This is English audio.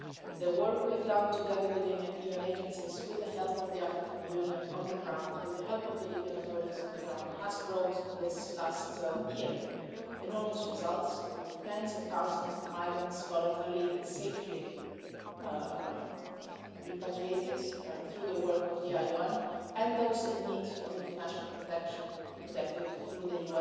The work we have done together within the UN agencies, with the help of the African Union on the ground, with the help of the Libyan authorities on the ground, has brought in this last year enormous results with tens of thousands of migrants voluntarily and safely repatriated through the work of the IOM and those in need of international protection protected through the